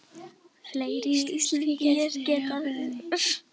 Fleiri íslenskir gestir eru á ferðinni.